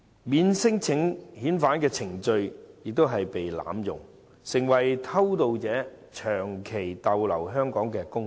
免遣返聲請程序已被濫用，成為偷渡者長期逗留香港的工具。